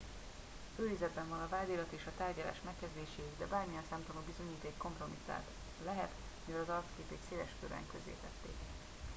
őrizetben van a vádirat és a tárgyalás megkezdéséig de bármilyen szemtanú bizonyíték kompromittált lehet mivel az arcképét széleskörűen közzétették